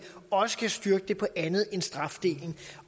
også kan styrke det på andet end strafdelen